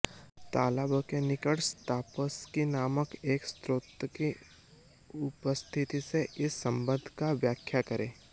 तालाबों के निकट स्ताफस्की नामक एक स्रोत की उपस्थिति से इस संबंध की व्याख्या करें